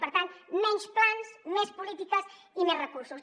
per tant menys plans més polítiques i més recursos